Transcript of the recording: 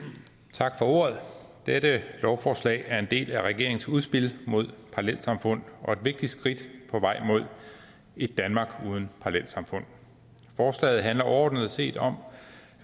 tak for ordet dette lovforslag er en del af regeringens udspil mod parallelsamfund og et vigtigt skridt på vej mod et danmark uden parallelsamfund forslaget handler overordnet set om